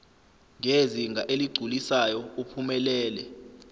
ngezinga eligculisayo uphumelele